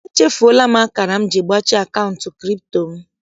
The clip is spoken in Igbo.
Echufuola akara m ji gbachie akaụntụ kripto m.